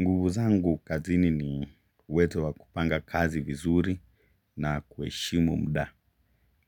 Nguvu zangu kazini ni uwezo wa kupanga kazi vizuri na kuheshimu muda.